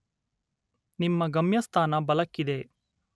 ನಿಮ್ಮ ಗಮ್ಯಸ್ಥಾನ ಬಲಕ್ಕಿದೆ.